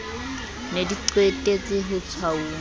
ne di qetetse ho tshwauwa